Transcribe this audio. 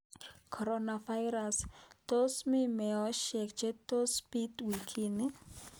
Coronavirus : Tos mii meosyek che tos biit wikini?